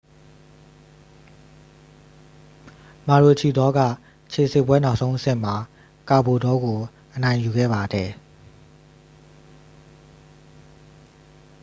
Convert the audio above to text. မာရိုချီဒေါက ခြေစစ်ပွဲ နောက်ဆုံးအဆင့်မှာ ကာဘိုလ်တောကို အနိုင်ယူခဲ့ပါတယ်